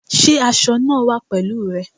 Sé aso eg náà wà pèlúù re?